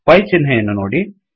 pi ಚಿಹ್ನೆಯನ್ನು ನೋಡಿ